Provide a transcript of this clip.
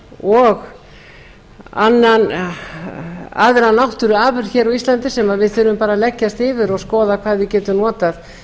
og aðra náttúruafurð á íslandi sem við þurfum að leggjast yfir og skoða hvað við getum notað